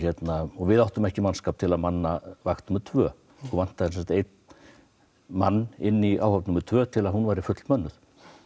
og við áttum ekki mannskap til að manna vakt númer tvö okkur vantaði einn mann inn í áhöfn númer tvö til að hún væri fullmönnuð